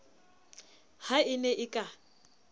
ha e ne e ka